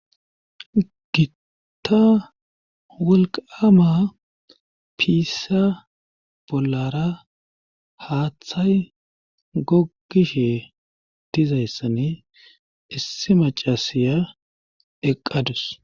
gitta wolqama piissa bollara haaththay gogishe dizayssani issi macasiya eqqadus